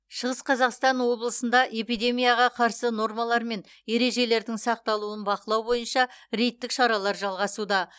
шығыс қазақстан облысында эпидемияға қарсы нормалар мен ережелердің сақталуын бақылау бойынша рейдтік шаралар жалғасуда